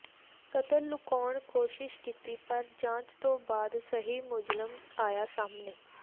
ਕਤਲ ਲੁਕਾਉਣ ਕੋਸ਼ਿਸ਼ ਕੀਤੀ ਪਰ ਜਾਂਚ ਤੋਂ ਬਾਅਦ ਸਹੀ ਮੁਲਜ਼ਮ ਆਇਆ ਸਾਹਮਣੇ